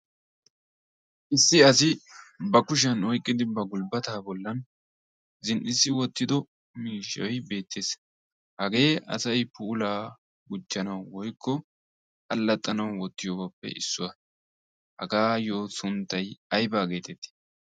issi asi ba kushiyan oiqqidi ba gulbbataa bollan zin''issi wottido miishshoy beettees hagee asay puulaa guchcanau woykko allaxxanau wottiyoobaappe issuwaa hagaayyo sunttay aybaa geetettii